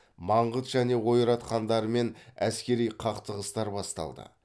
маңғыт және ойрат хандарымен әскери қақтығыстар басталды